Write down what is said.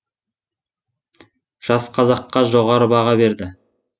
жас қазаққа жоғары баға береді